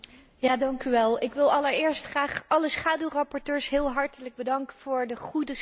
Ik wil allereerst graag alle schaduwrapporteurs heel hartelijk bedanken voor de goede samenwerking.